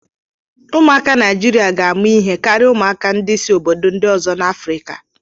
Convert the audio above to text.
Ụmụaka Naijiria ga ama ihe karịa ụmụaka si obodo ndị ọzọ dị n'Afrika.